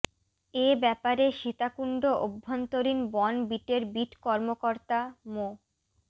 এ ব্যাপারে সীতাকুণ্ড অভ্যন্তরীণ বন বিটের বিট কর্মকর্তা মো